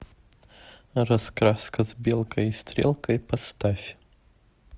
раскраска с белкой и стрелкой поставь